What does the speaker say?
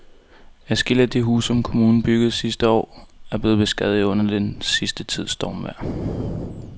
Adskillige af de huse, som kommunen byggede sidste år, er blevet beskadiget under den sidste tids stormvejr.